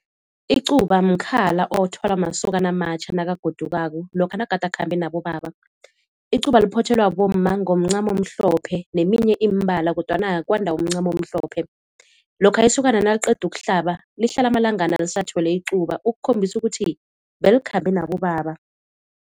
Icuba mkhala othwala masokana amatjha nakagodukako lokha nagade akhambe nabobaba. Icuba liphothelwa bomma ngomncamo omhlophe neminye imibala kodwana kwanda umncamo omhlophe. Lokha isokana naliqeda ukuhlaba lihlala amalangana lisathwele icuba ukukhombisa ukuthi belikhambe nabobaba.